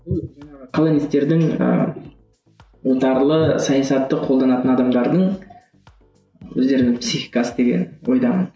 колонистердің ііі отарлы саясатты қолданатын адамдардың өздерінің психикасы деген ойдамын